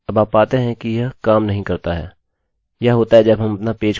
यह होता है जब हम अपना पेज खोलते हैं